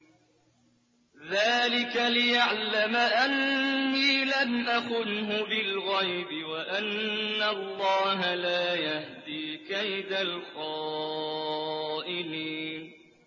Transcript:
ذَٰلِكَ لِيَعْلَمَ أَنِّي لَمْ أَخُنْهُ بِالْغَيْبِ وَأَنَّ اللَّهَ لَا يَهْدِي كَيْدَ الْخَائِنِينَ